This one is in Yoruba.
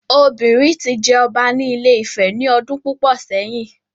Obìnrin ti jẹ ọba ní Ile Ife ní ọdún púpọ̀ sẹ́yìn